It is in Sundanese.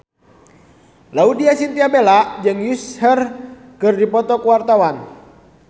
Laudya Chintya Bella jeung Usher keur dipoto ku wartawan